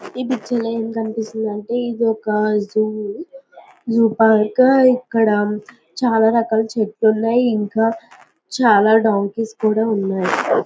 ఈ పిక్చర్ లో ఏమి కనిపిస్తోంది అంటే ఇది ఒక జూ జూ పార్క్ ఇక్కడ చాలా రకాల చెట్లు ఉన్నాయి. ఇంకా చాలా డొంకిస్ కూడా ఉన్నాయి.